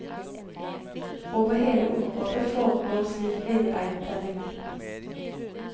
Over hele området foregår slik villreintelling.